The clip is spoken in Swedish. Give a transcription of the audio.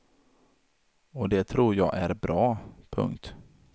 Och det tror jag är bra. punkt